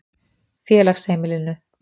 Félagsheimilinu